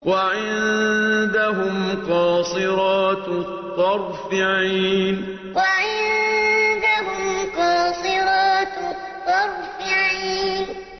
وَعِندَهُمْ قَاصِرَاتُ الطَّرْفِ عِينٌ وَعِندَهُمْ قَاصِرَاتُ الطَّرْفِ عِينٌ